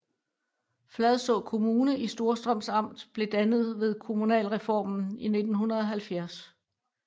Fladså Kommune i Storstrøms Amt blev dannet ved kommunalreformen i 1970